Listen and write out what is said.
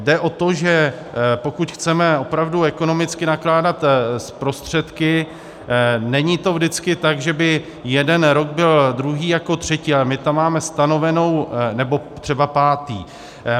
Jde o to, že pokud chceme opravdu ekonomicky nakládat s prostředky, není to vždycky tak, že by jeden rok byl druhý jako třetí, ale my tam máme stanovenou... nebo třeba pátý.